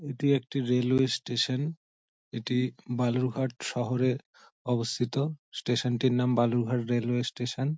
এটি একটি railway station. এটি বালুরঘাট শহরে অবস্থিত স্টেশন -টির নাম বালুরঘাট রেলওয়ে স্টেশন ।